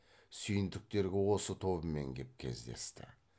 сүйіндіктерге осы тобымен кеп кездесті